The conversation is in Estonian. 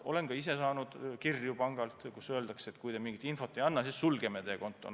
Olen ka ise saanud pangalt kirju, kus öeldakse, et kui te mingit infot ei anna, siis sulgeme teie konto.